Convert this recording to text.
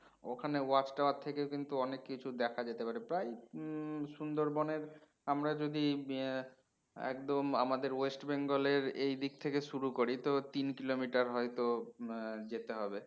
ওখানে watch tower থেকেও কিন্তু অনেক কিছু দেখা যেতে পারে প্রায় হম সুন্দরবন এর আমরা যদি হম একদম আমাদের ওয়েস্টবেঙ্গল এর এই দিক থেকে শুরু করি তো তিন kilometer হয়তো হম যেতে হবে